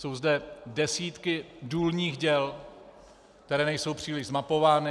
Jsou zde desítky důlních děl, která nejsou příliš zmapována.